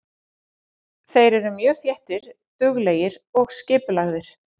Þeir eru mjög þéttir, duglegir og skipulagðir.